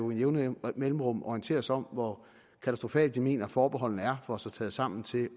med jævne mellemrum orienterer os om hvor katastrofale de mener at forbeholdene er får sig taget sammen til